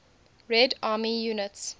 red army units